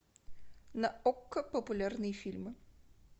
на окко популярные фильмы